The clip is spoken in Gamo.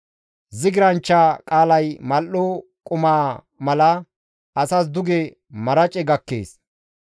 Zigirsanchcha qaalay mal7o qumaa mala asas duge marace gakkees.